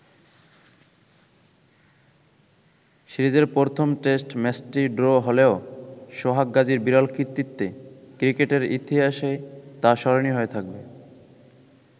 সিরিজের প্রথম টেস্ট ম্যাচটি ড্র হলেও, সোহাগ গাজীর বিরল কৃতিত্বে ক্রিকেটের ইতিহাসে তা স্মরণীয় হয়ে থাকবে।